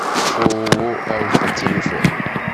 ооо альфа телефон